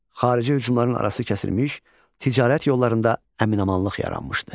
Xarici hücumların arası kəsilmiş, ticarət yollarında əmin-amanlıq yaranmışdı.